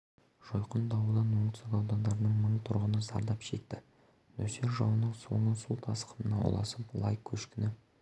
жойқын дауылдан оңтүстік аудандардың мың тұрғыны зардап шекті нөсер жауынның соңы су тасқынына ұласып лай көшкіні